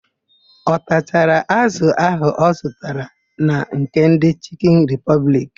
Ọ tachara ázụ̀ áhụ̀ ọ zụtara na nke ndị Chịkịn Ripọbliki?